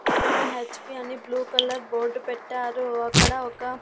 పక్కన H P అని blue colour board పెట్టారు అక్కడ ఒక--